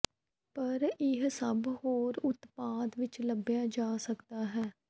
ਪਰ ਇਹ ਸਭ ਹੋਰ ਉਤਪਾਦ ਵਿੱਚ ਲੱਭਿਆ ਜਾ ਸਕਦਾ ਹੈ